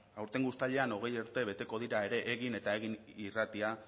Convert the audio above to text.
aurtengo uztailean hogei urte beteko dira ere egin eta egin irratia